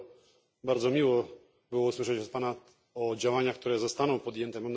Dlatego bardzo miło było usłyszeć od Pana o działaniach, które zostaną podjęte.